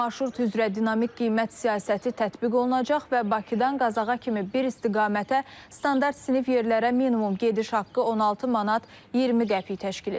Marşrut üzrə dinamik qiymət siyasəti tətbiq olunacaq və Bakıdan Qazaxa kimi bir istiqamətə standart sinif yerlərə minimum gediş haqqı 16 manat 20 qəpik təşkil edəcək.